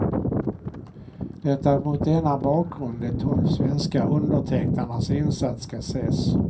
Det är mot denna bakgrund de tolv svenska undertecknarnas insats ska ses.